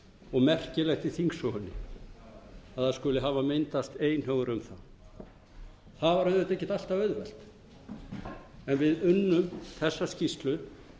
og merkilegt í þingsögunni að það skuli hafa myndast einhugur um það það var auðvitað ekkert alltaf auðvelt en við unnum þessa skýrslu